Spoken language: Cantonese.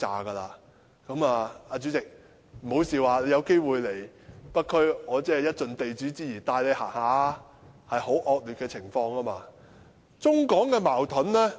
代理主席，請不要笑，你有機會來北區的話，我會盡地主之誼帶你去走一走，情況真的非常惡劣。